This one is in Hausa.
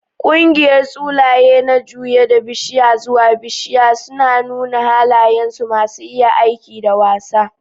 Ƙungiyar Tsulaiye na juye daga bishiya zuwa bishiya, suna nuna halayensu masu iya aiki da wasa.